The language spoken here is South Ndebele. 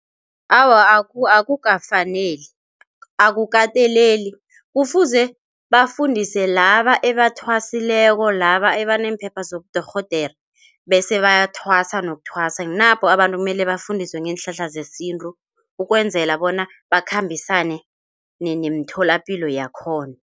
Awa, akukafaneli akukateleli kufuze bafundise laba ebathwasileko, laba abaneemphepha zabodorhodere bese bayathwasa nokuthwasa napo abantu kumele bafundiswe ngeenhlahla zesintu, ukwenzela bona bakhambisane nemitholapilo yakhona.